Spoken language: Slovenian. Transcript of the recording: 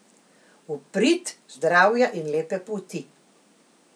V prid zdravja in lepe polti.